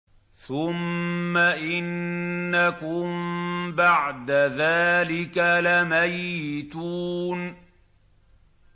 ثُمَّ إِنَّكُم بَعْدَ ذَٰلِكَ لَمَيِّتُونَ